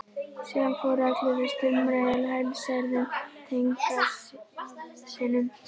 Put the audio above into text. Síðan fóru allir að stumra yfir helsærðum tengdasyninum.